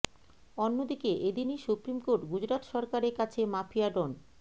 অন্য দিকে এদিনই সুপ্রিম কোর্ট গুজরাত সরকারের কাছে মাফিয়া ডন